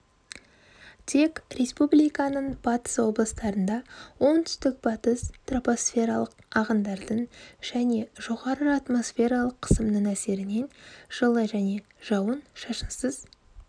тек республиканың батыс облыстарында оңтүстік-батыс тропосфералық ағындардың және жоғары атмосфералық қысымның әсерінен жылы және жауын-шашынсыз